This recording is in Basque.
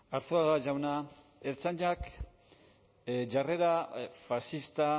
arzuaga jauna ertzaintzak jarrera faxista